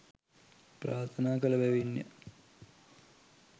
ප්‍රාර්ථනා කළ බැවින්ය.